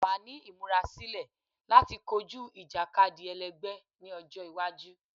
Wa ni imurasilọ lati koju ijakadi ẹlẹgbẹ ni ọjọ iwaju